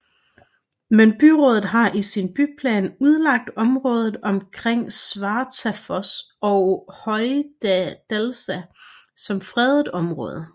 Men byrådet har i sin byplan udlagt området omkring Svartafoss og Hoydalsá som fredet område